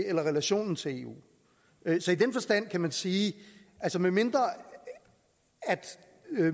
eller relationen til eu ved så i den forstand kan man sige at medmindre